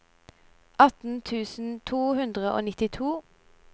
atten tusen to hundre og nittito